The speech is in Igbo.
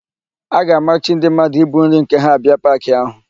A ga-amachi ndị mmadụ ibu nri nke ha abịa paakị áhụ̀.